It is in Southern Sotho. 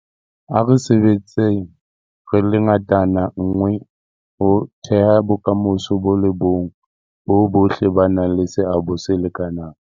A re sebetseng re le ngatana nngwe ho theha bokamoso bo le bong boo bohle ba nang le seabo se lekanang.